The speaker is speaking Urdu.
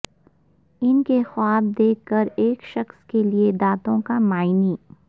ان کے خواب دیکھ کر ایک شخص کے لئے دانتوں کا معنی